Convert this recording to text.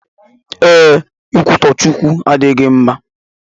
Ee, ikwutọ Chukwu adịghị mma